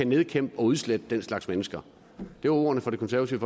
nedkæmpe og udslette den slags mennesker det var ordene fra det konservative